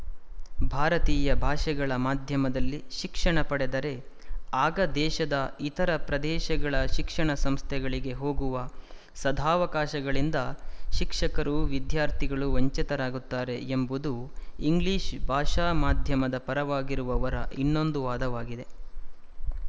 ಭಾರತೀಯ ಭಾಷೆಗಳ ಮಾಧ್ಯಮದಲ್ಲಿ ಶಿಕ್ಷಣ ಪಡೆದರೆ ಆಗ ದೇಶದ ಇತರ ಪ್ರದೇಶಗಳ ಶಿಕ್ಷಣ ಸಂಸ್ಥೆಗಳಿಗೆ ಹೋಗುವ ಸದಾವಕಾಶಗಳಿಂದ ಶಿಕ್ಷಕರೂ ವಿದ್ಯಾರ್ಥಿಗಳೂ ವಂಚಿತರಾಗುತ್ತಾರೆ ಎಂಬುದು ಇಂಗ್ಲಿಶ ಭಾಷಾ ಮಾಧ್ಯಮದ ಪರವಾಗಿರುವವರ ಇನ್ನೊಂದು ವಾದವಾಗಿದೆ